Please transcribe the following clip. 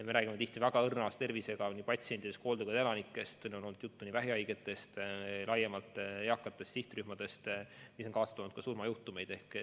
Me räägime ju väga õrna tervisega patsientidest, hooldekoduelanikest, ka vähihaigetest ja väga eakatest inimesest, kelle puhul see on kaasa toonud surmajuhtumeid.